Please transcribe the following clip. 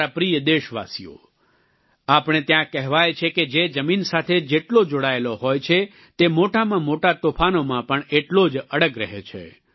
મારા પ્રિય દેશવાસીઓ આપણે ત્યાં કહેવાય છે કે જે જમીન સાથે જેટલો જોડાયેલો હોય છે તે મોટામાં મોટા તોફાનોમાં પણ એટલો જ અડગ રહે છે